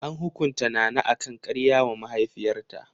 An hukunta Nana akan karya wa mahaifiyarta.